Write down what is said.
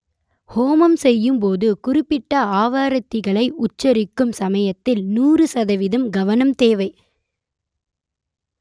ஹோமம் செய்யும் போது குறிப்பிட்ட ஆவர்த்திகளை உச்சரிக்கும் சமயத்தில் நூறு சதவீதம் கவனம் தேவை